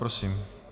Prosím.